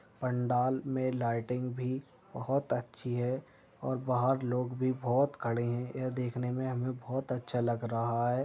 पंडाल में लाइटिंग भी बहोत अच्छी है और बाहर लोग भी बहोत खड़े है। ये देखने में हमें बहोत अच्छा लग रहा है।